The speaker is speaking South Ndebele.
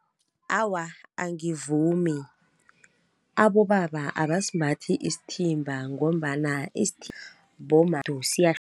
Awa angivumi, abobaba abasimbathi isithimba ngombana bomma